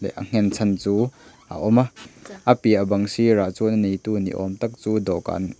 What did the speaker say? a nghen chhan chu a awm a a piah bang sirah chuan a neihtu ni awmtak chu dawhkan.